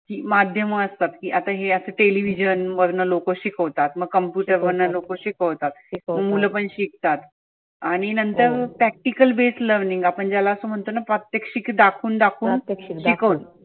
माध्यम असतात की आता हे असं television वर लोक शिकवतात. मग computer वरनं लोक शिकवतात. मुल पण शिकतात. आणि नंतर practical based learning आपण ज्याला आसं म्हणतोना प्रात्यक्षीत दाखवून दाखवून शिकवनं.